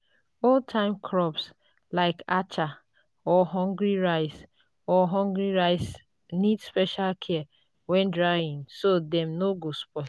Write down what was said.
old-time crops like acha or hungry rice or hungry rice need special care when drying so dem no go spoil.